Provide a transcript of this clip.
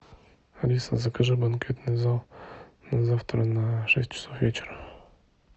алиса закажи банкетный зал на завтра на шесть часов вечера